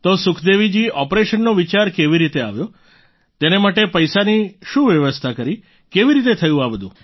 તો સુખદેવજી ઓપરેશનનો વિચાર કેવી રીતે આવ્યો તેને માટે પૈસાની શું વ્યવસ્થા કરી કેવી રીતે થયું આ બધું